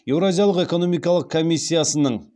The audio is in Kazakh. еуразиялық экономикалық комиссиясының